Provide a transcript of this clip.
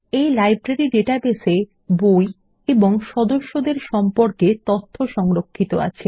এই library database এ বই এবং সদস্যদের সম্পর্কে তথ্য সংরক্ষিত আছে